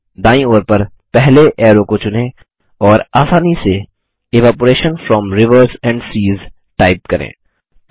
दायीं ओर पर पहले ऐरो को चुनें और आसानी से evaporation from rivers and seas type करें